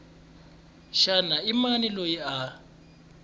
xana i mani loyi a